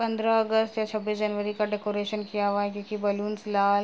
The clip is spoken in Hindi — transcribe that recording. पंद्रह अगस्त या छब्बीस जनवरी का डेकोरेशन किया हुआ है क्योंकि बैलून्स लाल --